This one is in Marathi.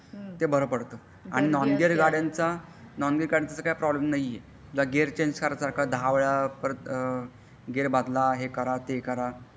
ते बारा पडत आणि नॉन गियर गाडयांचा नॉन गियर गाडयांचा काही प्रॉब्लेम नाही आहे तुला गियर चेणज करायचा दहा वेळा परत गियर बदल हे करा ते करा.